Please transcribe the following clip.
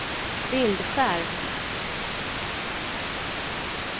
bildskärm